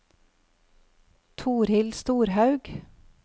Torhild Storhaug